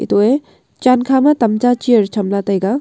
atoh a chan kha ma tamta chair tham la taiga.